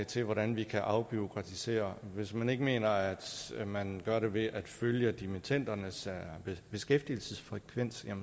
til hvordan vi kan afbureaukratisere hvis man ikke mener at man gør det ved at følge dimittendernes beskæftigelsesfrekvens er